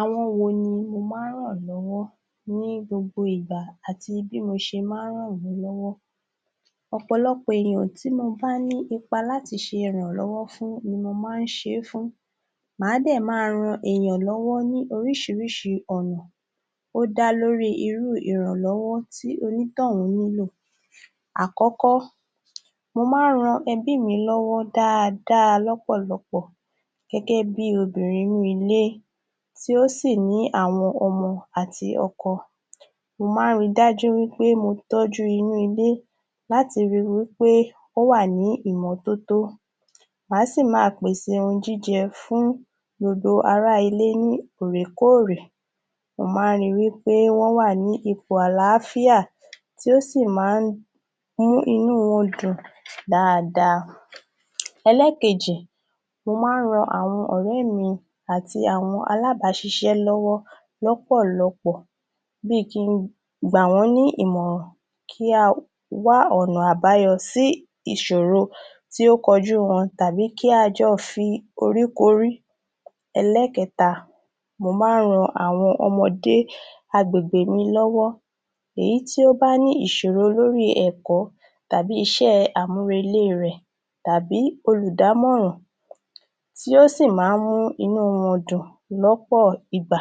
Àwọn wo ni o máa ń ràn lọ́wọ́ ní gbogbo ìgbà àti bí mo ṣe máa ń ràn wọ́n lọ́wọ́? Ọ̀pọ̀lọpọ̀ èèyàn tí mo bá ní ipa láti ṣèrànlọ́wọ́ fún ni mo máa ń ṣe é fún màá dẹ̀ máa ran èèyàn lọ́wọ́ ní oríṣiríṣi ọ̀nà ó dá lórí i irú u ìrànlọ́wọ́ tí onítọ̀ún nílò. Àkọ́kọ́, mo máa ń ran ẹbí mi lọ́wọ́ dáadáa lọ́pọ̀lọpọ̀ gẹ́gẹ́ bí obìnrin inú ilé tí ó sì ní àwọn ọmọ àti ọkọ, mo máa ń rí i dájú pé mo tọ́jú inú ilé láti rí wí pé ó wà ní ìmọ́tótó màá sì máa pèsè ohun jíjẹ fún gbogbo ará ilé ní òòrèkóòrè. Mo máa ń rí i pé wọ́n wà ní ipò àlááfíà tí ó sì máa ń mú inú wọn dùn dáadáa. Ẹlẹ́kejì mo máa ń ran àwọn ọ̀rẹ́ mi àti àwọn alábàáṣiṣẹ́ lọ́wọ́ lọ́pọ̀lọpọ̀ bí i kí n gbà wọ́n ní ìmọ̀ràn kí a wá ọ̀nà àbáyọ sí ìṣòro tó ń kọjú wọn àbí kí a jọ foríkorí. Ẹlẹ́kẹta, mo máa ń ra àwọn ọmọde agbègbè mi lọ́wọ́ èyí tí ó bá ní ìṣòro lórí ẹ̀kọ́ tàbí iṣẹ́ àmúrelé e rẹ̀ tàbí olùdámọ̀ràn tí ó sì máa ń mú inú wọn dùn lọ́pọ̀ ìgbà.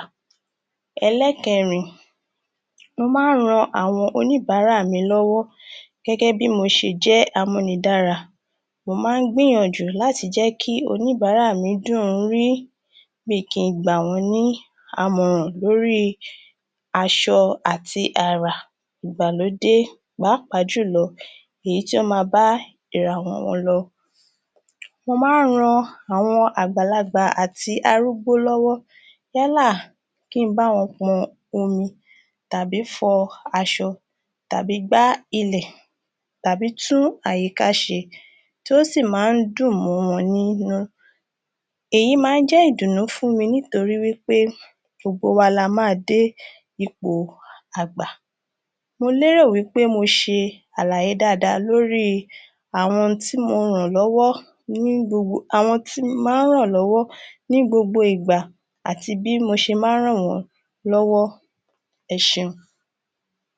Ẹlẹ́kẹrin, mo máa ń ran àwọn oníbárà mi lọ́wọ́ gẹ́gẹ́ bí mo ṣe jẹ́ amúnidára mo má ń gbìyànjú láti jẹ́ kí àwọn oníbárà mi dùn-ún rí bí i kí n gbà wọ́ n ní àmọ̀ràn lórí aṣọ àti àrà ìgbàlódé pàápàá jùlọ èyí tí ó máa bá ìmura wọn lọ. Mo máa ń ran àwọn àgbàlagbà àti arúgbó lọ́wọ́ yálà bí i kí n bá wọn pọn omi tàbí fọ aṣọ tàbí gbá ilẹ̀ tàbí tún àyíká ṣe tí ó sì máa ń dùn mọ́ wọn nínú. Èyí máa ń jẹ́ ìdùnnú fún mi nítorí i wí pé gbogbo wa la máa dé ipò àgbà. Mo lérò wí pé mo ṣe àlàyé dáadáa lórí i àwọn tí mo ràn lọ́wọ́.. àwọn tí n má ń ràn lọ́wọ́ ní gbogbo ìgbà àti bí mo ṣe ma ń ràn wọ́n lọ́wọ́. Ẹ ṣeun.